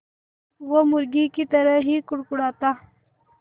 वो मुर्गी की तरह ही कुड़कुड़ाता